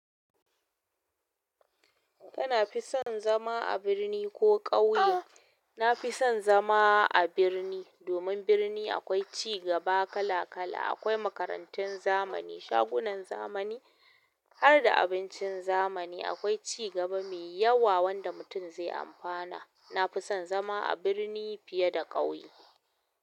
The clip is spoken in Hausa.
Kana fi son zama a birni ko ƙauye? Na fi son zama a birni. Domin birni akwai ci gaba kala kala, akwai makarantun zamani, shagunan zamani, harda abincin zamani. Akwai ci gaba mai yawa wanda mutum zai amfana. Na fi son zama a birni fiye da ƙauye.